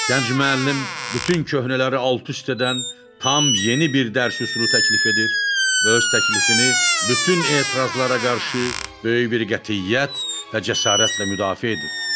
Gənc müəllim bütün köhnələri alt-üst edən, tam yeni bir dərs üsulu təklif edir və öz təklifini bütün etirazlara qarşı böyük bir qətiyyət və cəsarətlə müdafiə edir.